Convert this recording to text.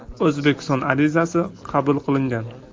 O‘zbekiston arizasi qabul qilingan.